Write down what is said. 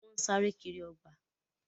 Wọ́n sáré kiri ọgbà.